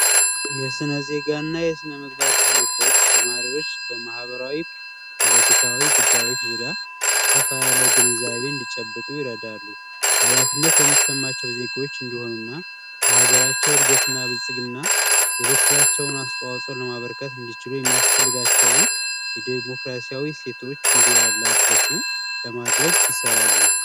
የስናዜጋ እና ስነምግባር ትምህርቶች ተማሪዎች በማህበራዊ ፖለቲካዊ ጉዳዮች ዙሪያ አሰፋ ያለ ግንዛቤ እንዲጨብጡ ይረዳሉ። ሀላፊነት የሚሰማቸው ዜጎች እንዲሆኑና ለሀገራቸው እድገትና በልፅግና የበኩላቸውን አስተዋጽኦ ለማበርከት እንዲችሉ የሚያስፈልጋቸውን የዲሞክራሲያዊ እሴቶች እንዲላበሱ ለማድረግ ይሰራሉ።